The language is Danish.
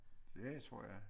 Det tror jeg